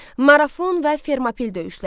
Marafon və Fermopil döyüşləri.